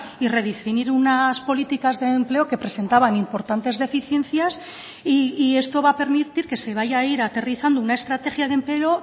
y redefinir unas políticas de empleo que presentaban importantes deficiencias y esto va a permitir que se vaya a ir aterrizando una estrategia de empleo